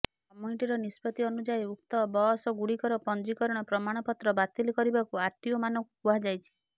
କମିଟିର ନିଷ୍ପତ୍ତି ଅନୁଯାୟୀ ଉକ୍ତ ବସ୍ଗୁଡ଼ିକର ପଞ୍ଜିକରଣ ପ୍ରମାଣପତ୍ର ବାତିଲ କରିବାକୁ ଆରଟିଓମାନଙ୍କୁ କୁହାଯାଇଛି